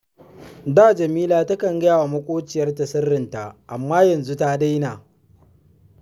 Da Jamila takan gaya wa maƙociyarta siririnta, amma yanzu ta daina